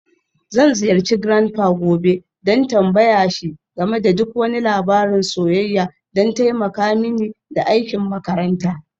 Zan ziyarci grandpa gobe don tambaye shi game da duk wani labarin soyayya don taimaka mini da aikin makaranta.